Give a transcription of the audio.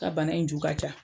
Ka bana in ju ka ca.